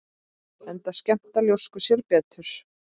Enda skemmta ljóskur sér betur.